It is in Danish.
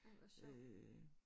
Ej hvor sjov